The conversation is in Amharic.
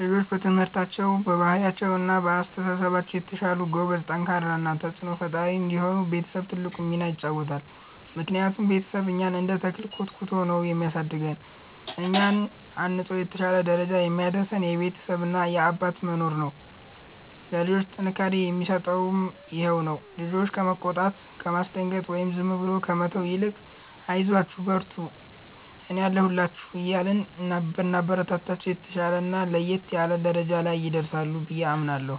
ልጆች በትምህርታቸው፣ በባህሪያቸው እና በአስተሳሰባቸው የተሻሉ፣ ጎበዝ፣ ጠንካራ እና ተጽዕኖ ፈጣሪ እንዲሆኑ ቤተሰብ ትልቁን ሚና ይጫወታል። ምክንያቱም ቤተሰብ እኛን እንደ ተክል ኮትኩቶ ነው የሚያሳድገን፤ እኛን አንጾ የተሻለ ደረጃ የሚያደርሰን የቤተሰብ እና የአባት መኖር ነው። ለልጆች ጥንካሬን የሚሰጣቸውም ይሄው ነው። ልጆችን ከመቆጣት፣ ከማስደንገጥ ወይም ዝም ብሎ ከመተው ይልቅ 'አይዟችሁ፣ በርቱልኝ፣ እኔ አለሁላችሁ' እያልን ብናበረታታቸው፣ የተሻለና ለየት ያለ ደረጃ ላይ ይደርሳሉ ብዬ አምናለሁ።